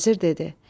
Vəzir dedi: